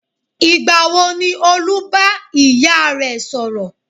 Ìgbà wo ni Olú bá ìyá rẹ̀ sọ̀rọ̀?